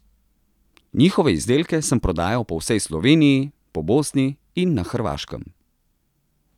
Njihove izdelke sem prodajal po vsej Sloveniji, po Bosni in na Hrvaškem.